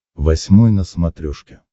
восьмой на смотрешке